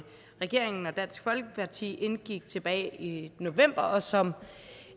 regeringen og dansk folkeparti indgik tilbage i november og som